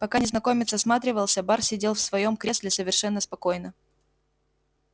пока незнакомец осматривался бар сидел в своём кресле совершенно спокойно